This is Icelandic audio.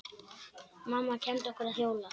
Mamma kenndi okkur að hjóla.